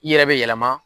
I yɛrɛ be yɛlɛma